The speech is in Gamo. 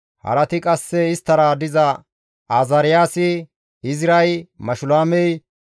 Harati qasse isttara diza Azaariyaasi, Izray, Mashulaamey,